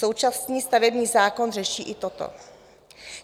Současný stavební zákon řeší i toto.